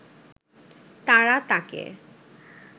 তারা তাঁকে